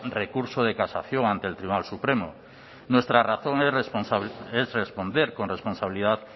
recurso de casación ante el tribunal supremo nuestra razón es responder con responsabilidad